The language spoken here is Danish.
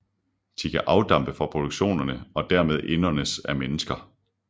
De kan afdampe fra produkterne og dermed indåndes af mennesker